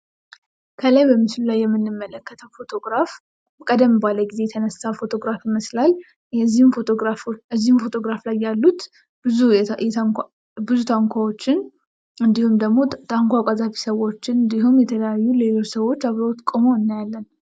ከላይ በምስሉ ላይ የምንመለከተው ፎቶ ግራፍ ቀደም ባለ ጊዜ የተነሳ ፎቶ ግራፍ ይመስላል። እዚሁ ፎቶ ግራፍ ላይ ያሉት ብዙ ታንኳዎችን እንዲሁም ደሞ ታንኳ ቀዛፊ ሰውችን እንዲሁም የተለያዩ ሌሎች ሰዎች ቁመው እናያለን።